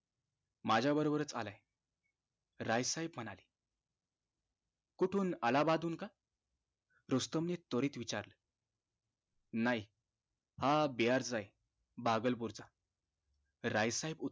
माझ्या बरोबरच आलाय राय साहेब म्हणाले कुठून अलाहाबाद हुन का? रुस्तम नि त्वरित विचारलं नाही हा बिहार च आहे बागलपूर चा राय साहेब उत्तर